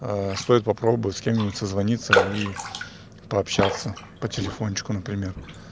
стоит попробовать с кем-нибудь созвониться и пообщаться по телефону например